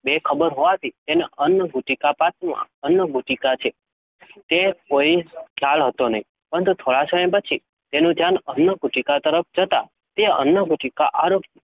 બેખબર હોવાથી તેને અન્નગુટિકાપાત્રમાં અન્નગુટિકા છે. તેવો કોઈ જ ખ્યાલ નહોતો. પરંતુ થોડા સમય પછી તેનું ધ્યાન અન્નગુટિકા તરફ જતાં તે અન્નગુટિકા આરોગી.